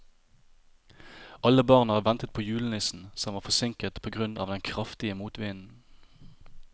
Alle barna ventet på julenissen, som var forsinket på grunn av den kraftige motvinden.